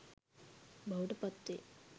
බවට පත් වෙයි.